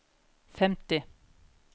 femti